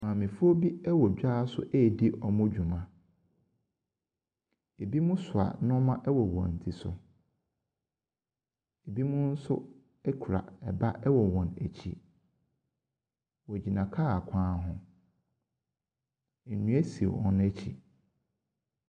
Maamefoɔ bi wɔ dwa so redi wɔn dwuma. Ɛbinom so nneɛma wɔ wɔn ti so. Binom nso kura ba wɔ wan akyi. Wɔgyina kaa kwan ho. Nnua si wɔn akyi.